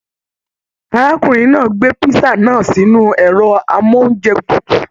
Arákùnrin náà gbé pisa náà sínú ẹrọ amounjẹ tútù.